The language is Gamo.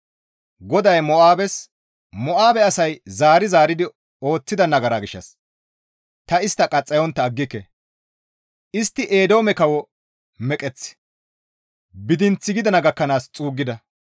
GODAY Mo7aabes, «Mo7aabe asay zaari zaaridi ooththida nagara gishshas ta istta qaxxayontta aggike; istti Eedoome kawo meqeththi Bidinth gidana gakkanaas xuuggida.